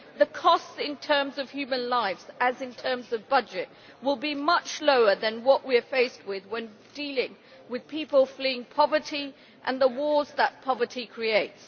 The costs in terms of human lives, as in terms of budget, will be much lower than what we are faced with when dealing with people fleeing poverty and the wars that poverty creates.